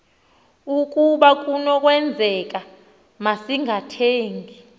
ukaba kunokwenzeka masingathengi